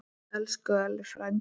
Elsku Elli frændi.